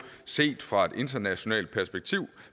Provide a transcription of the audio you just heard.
set fra et internationalt perspektiv